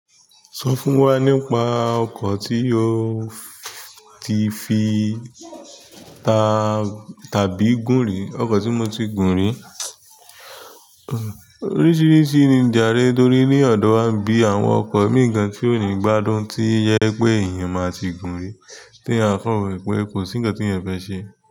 Sọ fún wa nípa ọkọ̀ tí o ti fi tàbí gún ri. Ọkọ ti mo ti gun ri. Oríṣiríṣi ni ìjàre torí ní ọ̀dọ̀ wa bí àwọn ọkọ̀ mii gan tí ò ní gbádùn tí ó jẹ pé èèyàn máa ti gún-un rí tí a kan wo pé kò sí nǹkan tí èèyàn fẹ́ ṣe.